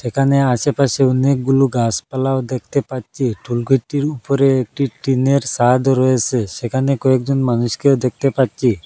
একানে আসেপাশে অনেকগুলো গাসপালাও দেখতে পাচ্চি টোল গেটটির উপরে একটি টিনের সাদও রয়েসে সেখানে কয়েকজন মানুষকেও দেখতে পাচ্চি।